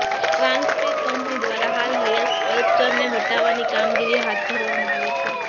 Transpek company દ્વારા હાલ હયાત સ્ક્લપ્ચરને હટાવવાની કામગીરી હાથ ધરવામાં આવી છે